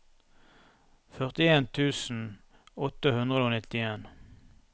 førtien tusen åtte hundre og nittien